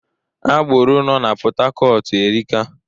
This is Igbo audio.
Agboro no n'Pọtakọtu erika